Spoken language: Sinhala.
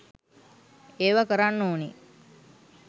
ඒව කරන්න ඕනෙ